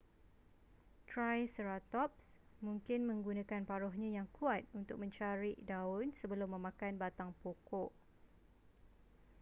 triceratops mungkin menggunakan paruhnya yang kuat untuk mencarik daun sebelum memakan batang pokok